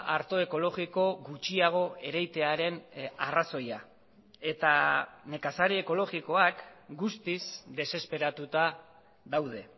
arto ekologiko gutxiago ereitearen arrazoia eta nekazari ekologikoak guztiz desesperatuta daude